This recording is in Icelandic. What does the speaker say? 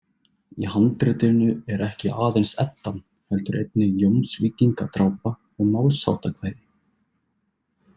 Í handritinu er ekki aðeins Eddan heldur einnig Jómsvíkingadrápa og Málsháttakvæði.